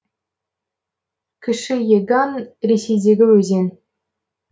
кіші еган ресейдегі өзен